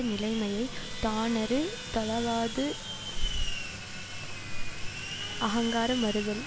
நிலைமையை தானறுதலாவது அகங்கார மறுதல்